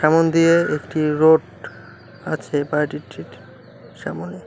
সামোন দিয়ে একটি রোড আছে বাইরের সামোনে ।